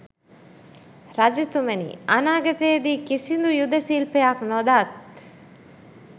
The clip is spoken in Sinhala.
රජතුමනි, අනාගතයේ දී කිසිදු යුධ ශිල්පයක් නොදත්